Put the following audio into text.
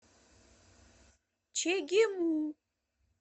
чегему